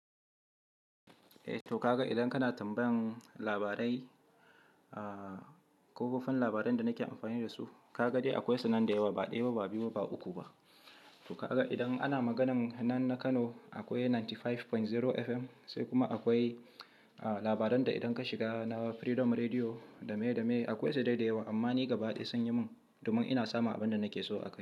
Eh toh, ka ga idan kana tambayan labarai, a ko kafafen labaran da nake amfani da su, ka ga dai akwai su nan da yawa, ba ɗaya ba, ba biyu ba, ba uku ba. To ka ga idan ana maganan nan na Kano akwai 95.0 FM, sai kuma akwai a labaran da idan ka shiga na Freedom Rediyo, da me da me, akwai sai dai da yawa. Amma ni gaba ɗaya sun yi min, domin ina samun abin da nake so a can.